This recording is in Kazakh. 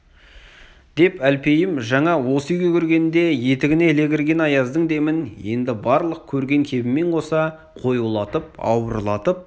деп әлпейім жаңа осы үйге кіргенде етігіне іле кірген аяздың демін енді барлық көрген кебімен қоса қоюлатып ауырлатып